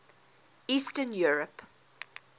eastern europe